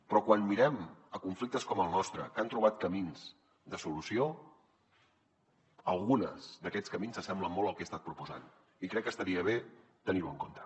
però quan mirem conflictes com el nostre que han trobat camins de solució alguns d’aquests camins s’assemblen molt al que he estat proposant i crec que estaria bé tenir ho en compte